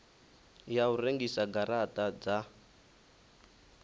ya u rengisa garata dza